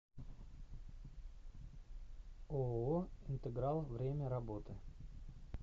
ооо интеграл время работы